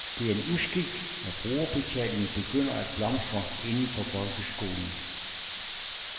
Det er en uskik, når brugerbetalingen begynder at blomstre inden for folkeskolen.